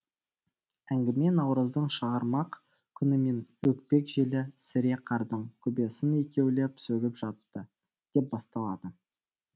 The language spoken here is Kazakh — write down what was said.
әңгіме наурыздың шағырмақ күні мен өкпек желі сіре қардың көбесін екеулеп сөгіп жатты деп басталады